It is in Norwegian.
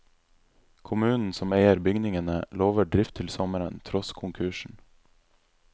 Kommunen som eier bygningene, lover drift til sommeren, tross konkursen.